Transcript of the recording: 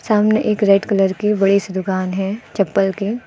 सामने एक red colour की बड़ी सी दुकान है चप्पल की।